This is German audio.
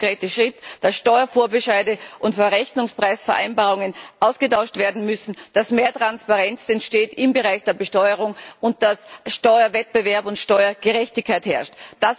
Der erste konkrete Schritt, dass Steuervorbescheide und Verrechnungspreisvereinbarungen ausgetauscht werden müssen, dass mehr Transparenz entsteht im Bereich der Besteuerung und dass Steuerwettbewerb und Steuergerechtigkeit herrschen.